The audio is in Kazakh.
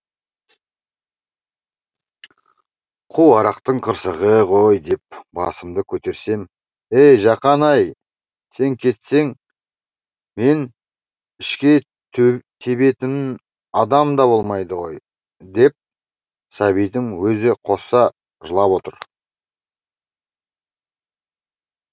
қу арақтың қырсығы ғой деп басымды көтерсем ей жақан ай сен кетсең мен ішке тебетін адам да болмайды ғой деп сәбитім өзі қоса жылап отыр